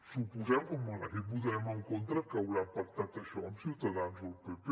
suposem com en aquest votarem en contra que hauran pactat això amb ciutadans o el pp